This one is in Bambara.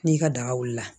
N'i ka daga wulila